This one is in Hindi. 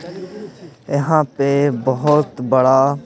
यहाँ पे बहुत बड़ा--